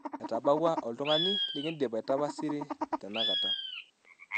etabaua oltungani likidim aitapasiri tenakata